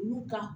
Olu ka